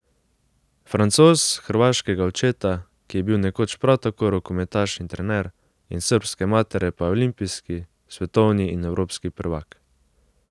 Francoz hrvaškega očeta, ki je bil nekoč prav tako rokometaš in trener, in srbske matere pa je olimpijski, svetovni in evropski prvak.